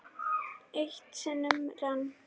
Eitt sinn rann